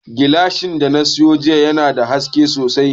Gilashin da na sayo jiya yana da haske sosai